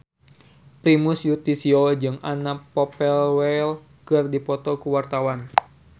Primus Yustisio jeung Anna Popplewell keur dipoto ku wartawan